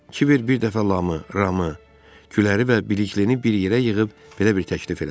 Kibver bir dəfə Lamı, Ramı, Küləri və Biliklini bir yerə yığıb belə bir təklif elədi: